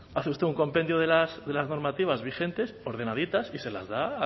hace usted un compendio de las normativas vigentes ordenaditas y se las da